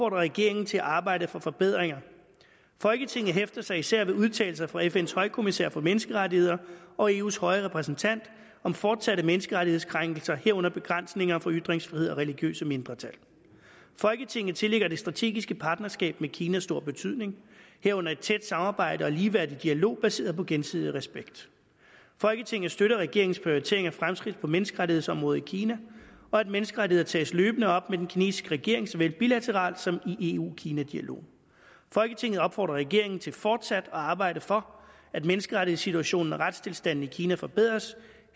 regeringen til at arbejde for forbedringer folketinget hæfter sig især ved udtalelser fra fns højkommissær for menneskerettigheder og eus høje repræsentant om fortsatte menneskerettighedskrænkelser herunder begrænsninger for ytringsfrihed og religiøse mindretal folketinget tillægger det strategiske partnerskab med kina stor betydning herunder et tæt samarbejde og ligeværdig dialog baseret på gensidig respekt folketinget støtter regeringens prioritering af fremskridt på menneskerettighedsområdet i kina og at menneskerettigheder tages løbende op med den kinesiske regering såvel bilateralt som i eu kina dialogen folketinget opfordrer regeringen til fortsat at arbejde for at menneskerettighedssituationen og retstilstanden i kina forbedres